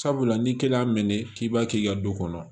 Sabula ni kelen y'a mɛn k'i b'a kɛ i ka du kɔnɔ